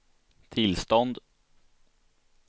tillstånd